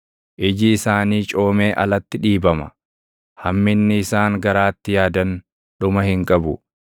Iji isaanii coomee alatti dhiibama; hamminni isaan garaatti yaadan dhuma hin qabu.